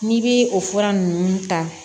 N'i bi o fura nunnu ta